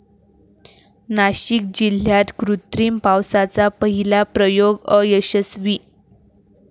नाशिक जिल्ह्यात कृत्रिम पावसाचा पहिला प्रयोग अयशस्वी